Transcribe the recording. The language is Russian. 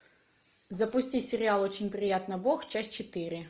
запусти сериал очень приятно бог часть четыре